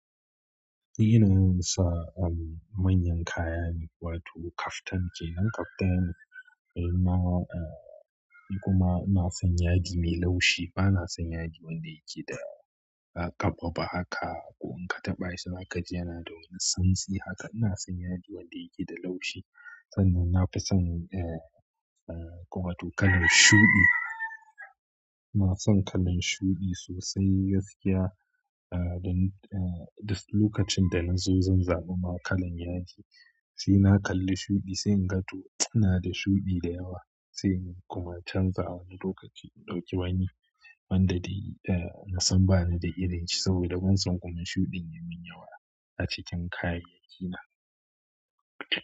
Ni yawan sa, um, manyan kaya ne, wato kaftan ce. Nan kaftan na, uh, kuma ina son yadi mai laushi. Bana son yadi wanda yake da, uh, ƙaɓa ba haka, ko in ka taɓa shi zaka ji yana da wani santsi haka. Ina son yadi wanda yake da laushi sannan na fi son, uh, uh, kuma to kalan shuɗi. Ina son kalan shuɗi sosai gaskiya. Uh, dan, uh, da lokacin da na zo zan zaba ma kalan yadi, sai na kalli shuɗi sai in ga to ina da shuɗi da yawa sai in kuma canza wani lokaci, in ɗauki wani wanda dai, uh, na san ba ni da irin shi saboda ban san kuma shuɗin ya min yawa a cikin kayyayaki na.